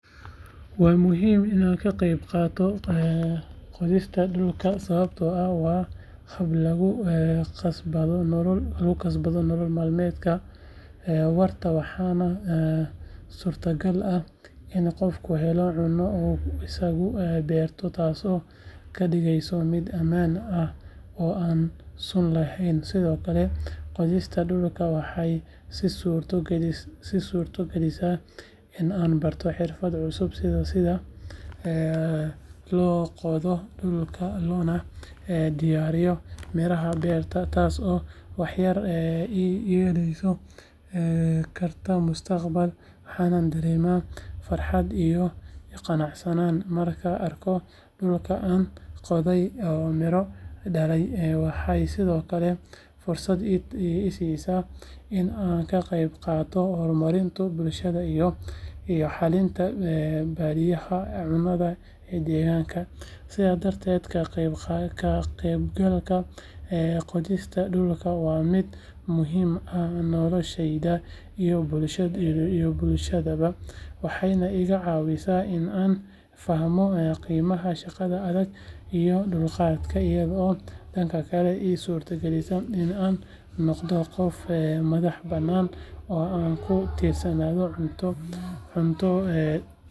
Waa muhiim in aan ka qayb qaato qodista dhulka sababtoo ah waa hab lagu kasbado nolol maalmeed waarta waxaana suurtagal ah in qofku helo cunno uu isagu beertay taasoo ka dhigaysa mid ammaan ah oo aan sun lahayn sidoo kale qodista dhulku waxay ii suurto galisaa in aan barto xirfado cusub sida sida loo qodo dhulka loona diyaariyo miraha beerta taasoo waxtar ii yeelan karta mustaqbalka waxaan dareemaa farxad iyo qanacsanaan markaan arko dhulkii aan qoday oo miro dhalay waxay sidoo kale fursad ii siisaa in aan ka qayb qaato horumarinta bulshada iyo xallinta baahiyaha cunnada ee deegaanka sidaa darteed ka qaybgalka qodista dhulku waa mid muhiim ah noloshayda iyo bulshadaydaba waxayna iga caawisaa in aan fahmo qiimaha shaqada adag iyo dulqaadka iyadoo dhanka kale ii suurtogalisa in aan noqdo qof madaxbannaan oo aan ku tiirsanayn cunto.